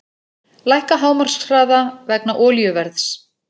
Lækka hámarkshraða vegna olíuverðs